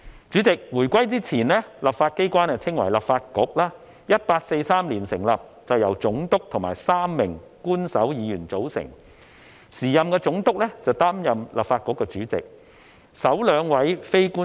主席，回歸前，立法機關稱為立法局 ，1843 年成立並由總督和3名官守議員組成，時任總督擔任立法局主席。